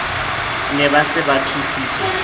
na ba se ba thusitswe